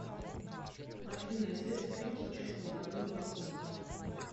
афина известный фильм с участием владимира высоцкого